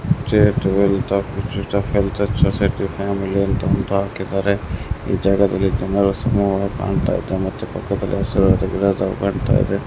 Family ಅಂತ ಹಾಕಿದ್ದಾರೆ ಈ ಜಾಗದಲ್ಲಿ ಜನರ ಸಮೂಹ ಕಾಣ್ತಾ ಇದೆ ಮತ್ತೆ ಪಕ್ಕದಲ್ಲಿ ಹಸಿರಾದ ಗಿಡಗಳು ಕಾಣ್ತಾ ಇದೆ.